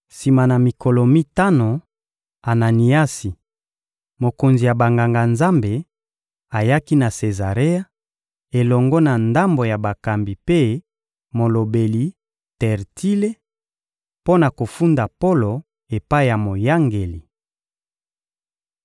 Sima na mikolo mitano, Ananiasi, mokonzi ya Banganga-Nzambe, ayaki na Sezarea, elongo na ndambo ya bakambi mpe molobeli Tertile, mpo na kofunda Polo epai ya moyangeli.